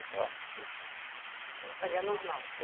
e tal, né. Ela fazia normal?